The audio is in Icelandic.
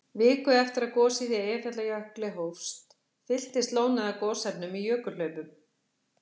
Viku eftir að gosið í Eyjafjallajökli hófst, fylltist lónið af gosefnum í jökulhlaupum.